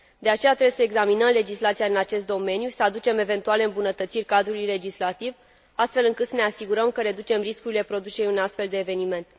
De aceea, trebuie să examinăm legislația în acest domeniu și să aducem eventuale îmbunătățiri cadrului legislativ, astfel încât să ne asigurăm că reducem riscurile producerii unui astfel de eveniment.